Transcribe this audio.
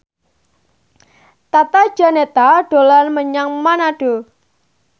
Tata Janeta dolan menyang Manado